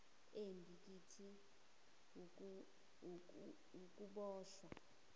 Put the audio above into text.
embi kithi wukuboshwa